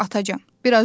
Atacam.